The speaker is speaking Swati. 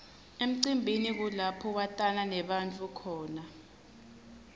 emcimbini kulapho watana nebantfu khona